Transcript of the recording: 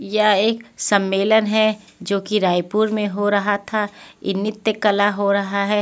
यह एक सम्मेलन है जो कि रायपुर में हो रहा था यह नित्य कला हो रहा है.